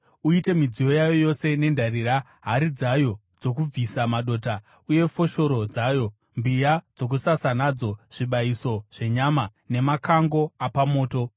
Uite midziyo yayo yose nendarira, hari dzayo dzokubvisisa madota, uye foshoro dzayo, mbiya dzokusasa nadzo, zvibayiso zvenyama nemakango apamoto.